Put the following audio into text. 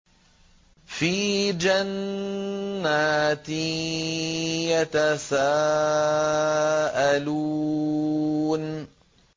فِي جَنَّاتٍ يَتَسَاءَلُونَ